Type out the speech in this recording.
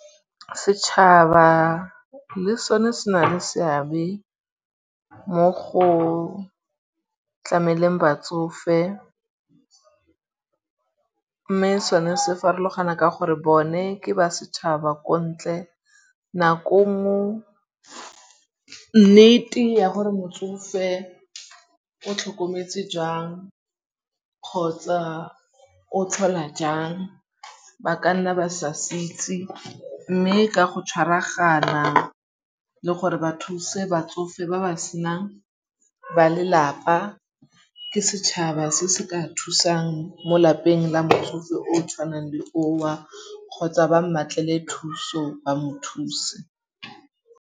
Setšhaba le sone se na le seabe mo go tlameleng batsofe mme sone se farologana ka gore bone ke ba setšhaba ko ntle nako. Nako nngwe nnete ya gore motsofe o tlhokometswe jang kgotsa o tlhola jang ba ka nna ba sase itse mme ka go tšhwaragana le gore ba thuse batsofe ba ba senang ba lelapa ke setšhaba se se ka thusang mo lapeng la motsofe o tshwanang le oo kgotsa ba mmatlele thuso ba mo thuse.